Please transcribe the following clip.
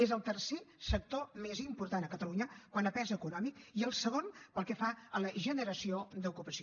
és el tercer sector més important a catalunya quant a pes econòmic i el segon pel que fa a la generació d’ocupació